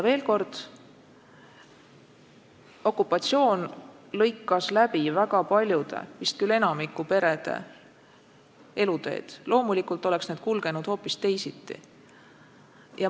Veel kord: okupatsioon lõikas läbi väga paljude, vist küll enamiku perede eluteed – loomulikult oleks need kulgenud hoopis teisiti.